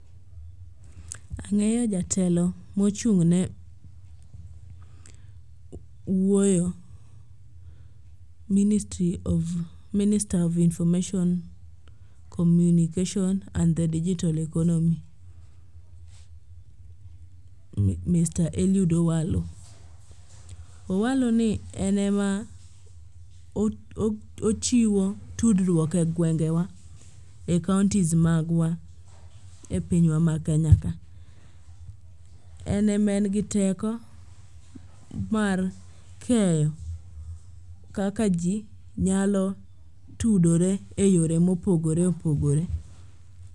Ang'eyo jatelo mochung'ne wuoyo minister of information communication and the digital economy mr. Eliud Owalo. Owalo ni en ema ochiwo tudruok e gwengewa e kaontis magwa e pinywa ma Kenya ka. En ema en gi teko mar keyo kaka ji nyalo tudore e yore mopogore opogore.